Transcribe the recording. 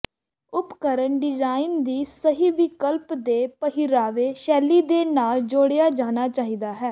ਉਪਕਰਣ ਡਿਜ਼ਾਇਨ ਦੀ ਸਹੀ ਵਿਕਲਪ ਦੇ ਪਹਿਰਾਵੇ ਸ਼ੈਲੀ ਦੇ ਨਾਲ ਜੋੜਿਆ ਜਾਣਾ ਚਾਹੀਦਾ ਹੈ